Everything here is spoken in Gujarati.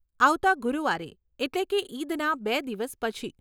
આવતાં ગુરુવારે, એટલે કે ઈદના બે દિવસ પછી.